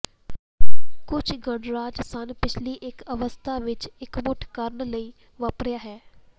ਕੁਝ ਗਣਰਾਜ ਸਨ ਪਿਛਲੀ ਇੱਕ ਅਵਸਥਾ ਵਿੱਚ ਇਕਮੁੱਠ ਕਰਨ ਲਈ ਵਾਪਰਿਆ ਹੈ